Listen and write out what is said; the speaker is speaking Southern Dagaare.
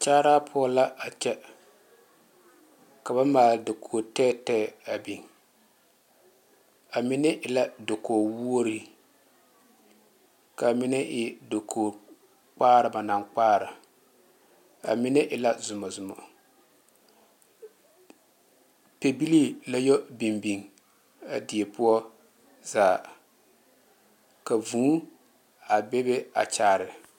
Kyaara poɔ la a kyɛ ka ba maali dakogi tɛɛtɛɛ a biŋ a mine e la dakogi woɔre kaa mine e dakogi kpaare ba naŋ kpaare a mine e la zɔmo zɔmo pɛle la yɔ biŋ biŋ a die poɔ zaa ka vūū a be be kyaare.